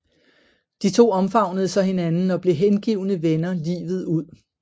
De to omfavnede så hinanden og blev hengivne venner livet ud